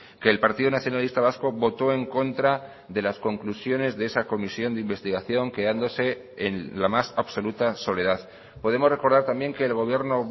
que el partido nacionalista vasco votó en contra de las conclusiones de esa comisión de investigación quedándose en la más absoluta soledad podemos recordar también que el gobierno